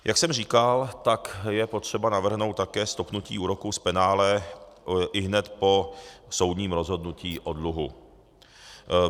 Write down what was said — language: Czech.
Jak jsem říkal, tak je potřeba navrhnout také stopnutí úroků z penále ihned po soudním rozhodnutí o dluhu.